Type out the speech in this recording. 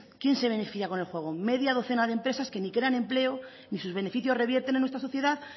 quién se beneficia con el juego media docena de empresas que ni crean empleo ni sus beneficios revierten en la nuestra sociedad